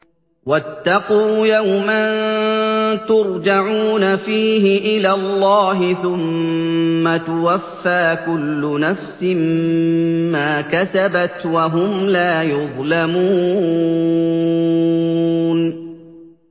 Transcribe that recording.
وَاتَّقُوا يَوْمًا تُرْجَعُونَ فِيهِ إِلَى اللَّهِ ۖ ثُمَّ تُوَفَّىٰ كُلُّ نَفْسٍ مَّا كَسَبَتْ وَهُمْ لَا يُظْلَمُونَ